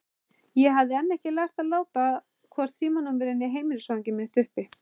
Ég hafði enn ekki lært að láta hvorki símanúmerið né heimilisfangið mitt uppi.